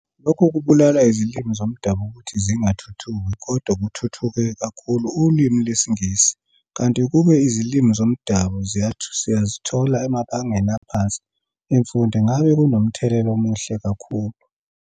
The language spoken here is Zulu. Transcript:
Lokho kubulala izilimi zomdabu ukuthi zingathuthuki kodwa kuthuthuke kakhulu ulwimi lwesiNgisi kanti ukube izilimi zomdabu siyazithola emabangeni aphansi emfundo ngabe kunomthelela omuhle kakhulu